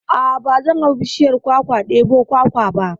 A'a ba zan hau bishiyar kwakwa ɗebo kwakwa ba